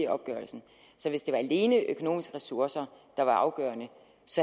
opgørelsen så hvis det alene var økonomiske ressourcer der var afgørende